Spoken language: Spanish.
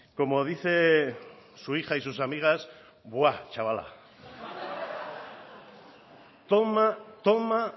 como dice su hija y sus amigas buá chavala toma toma